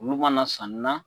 Olu mana sani na.